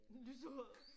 Lyserød